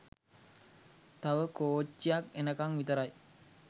තව කෝච්චියක් එනකන් විතරයි.